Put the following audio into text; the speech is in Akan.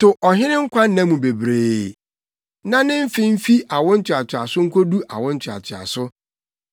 To ɔhene nkwanna mu bebree; na ne mfe mfi awo ntoatoaso nkodu awo ntoatoaso.